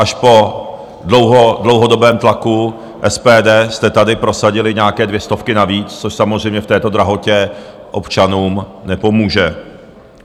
Až po dlouhodobém tlaku SPD jste tady prosadili nějaké dvě stovky navíc, což samozřejmě v této drahotě občanům nepomůže.